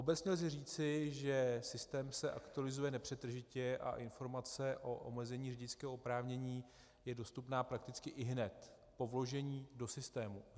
Obecně lze říci, že systém se aktualizuje nepřetržitě a informace o omezení řidičského oprávnění je dostupná prakticky ihned po vložení do systému.